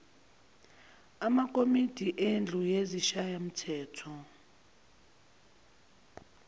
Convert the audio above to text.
amakomidi endlu yesishayamthetho